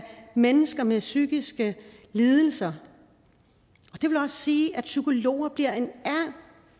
mennesker med psykiske lidelser og sige at psykologer